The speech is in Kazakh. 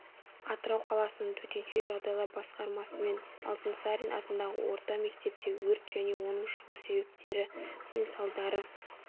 атырау қаласының төтенше жағдайлар басқармасымен алтынсарин атындағы орта мектепте өрт және оның шығу себептері мен салдары